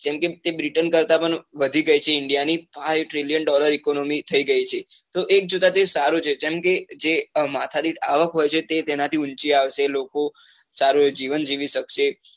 કેમ કે britain કરતા પણ વધી ગઈ છે india ની five trillion dollar economy થઇ ગઈ છે તો એ એક જોતા તો એ સારું છે જેમ કે જે માથાદીઠ આવક હોય છે તે તેના થી ઉંચી આવશે લોકો સારું જીવન જીવી શકશે.